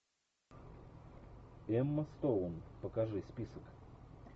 эмма стоун покажи список